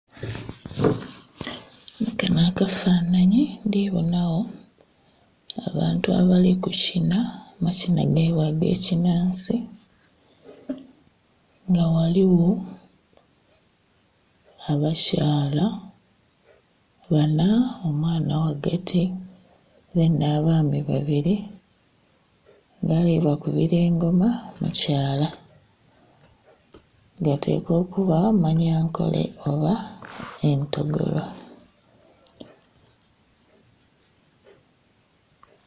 Mukano akafanhanyi ndi bonagho abaantu abali kukina amakina gaibwe ag'ekinansi nga ghaligho abakyala banha, omwaana ghagati mbeni abaami babiri nga alibakubira engoma mukyala. Gatekwa okuba manyankole oba entogoro.